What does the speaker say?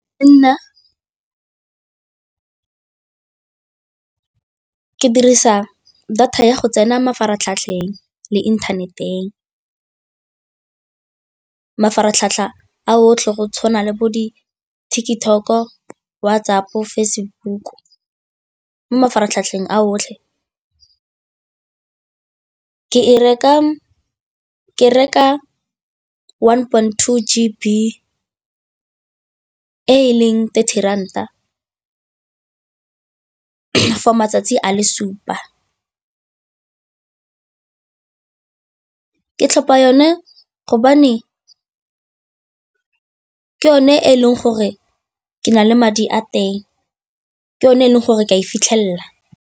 Nna ke dirisa data ya go tsena mafaratlhatlheng le inthaneteng. Mafaratlhatlha a otlhe go tshwana le bo di-TikTok-o, WhatsApp-o, Facebook mo mafaratlhatlheng a otlhe, ke reka one point two G_B e e leng thirty ranta for matsatsi a le supa. Ke tlhopha yone gobane ke yone e leng gore ke na le madi a teng, ke yone e leng gore ke a e fitlhelela.